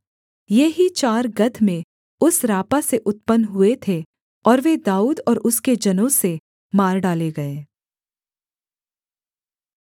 ये ही चार गत में उस रापा से उत्पन्न हुए थे और वे दाऊद और उसके जनों से मार डाले गए